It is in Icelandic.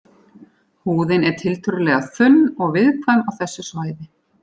Húðin er tiltölulega þunn og viðkvæm á þessu svæði.